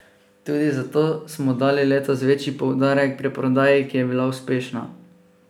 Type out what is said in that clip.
Tudi zato smo dali letos večji poudarek predprodaji, ki je bila uspešna.